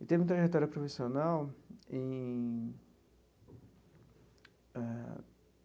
Em termo de trajetória profissional em eh.